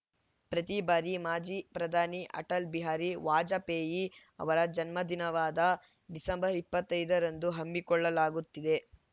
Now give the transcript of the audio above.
ಪ್ರತಿ ಬಾರಿ ಮಾಜಿ ಪ್ರಧಾನಿ ಅಟಲ್‌ ಬಿಹಾರಿ ವಾಜಪೇಯಿ ಅವರ ಜನ್ಮದಿನವಾದ ಡಿಸೆಂಬರ್ ಇಪ್ಪತ್ತ್ ಐದರಂದು ಹಮ್ಮಿಕೊಳ್ಳಲಾಗುತ್ತಿದೆ